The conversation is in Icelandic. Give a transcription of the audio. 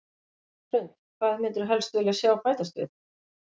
Hrund: Hvað myndirðu helst vilja sjá bætast við?